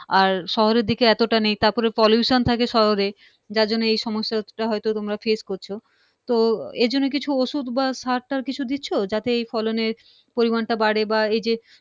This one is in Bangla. আর শহরের দিকে এতটা নেই তারপরে pollution থাকে শহর এ, যারজন্য এই সমস্যা টা হয়ত তোমরা face করছো তো এরজন্য কিছু ওষুধ বা সার টার কিছু দিচ্ছ যাতে এই ফলনের পরিমানটা বাড়ে বা এইযে